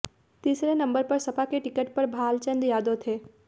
तीसरे नंबर पर सपा के टिकट पर भालचंद्र यादव थे